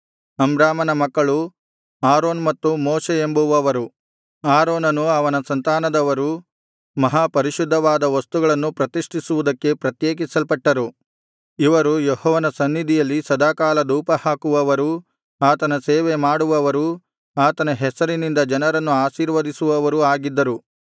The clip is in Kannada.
ಅಮ್ರಾಮನ ಮಕ್ಕಳು ಆರೋನ್ ಮತ್ತು ಮೋಶೆ ಎಂಬುವವರು ಆರೋನನು ಅವನ ಸಂತಾನದವರು ಮಹಾ ಪರಿಶುದ್ಧವಾದ ವಸ್ತುಗಳನ್ನು ಪ್ರತಿಷ್ಠಿಸುವುದಕ್ಕೆ ಪ್ರತ್ಯೇಕಿಸಲ್ಪಟ್ಟರು ಇವರು ಯೆಹೋವನ ಸನ್ನಿಧಿಯಲ್ಲಿ ಸದಾಕಾಲ ಧೂಪಹಾಕುವವರೂ ಆತನ ಸೇವೆ ಮಾಡುವವರೂ ಆತನ ಹೆಸರಿನಿಂದ ಜನರನ್ನು ಆಶೀರ್ವದಿಸುವವರೂ ಆಗಿದ್ದರು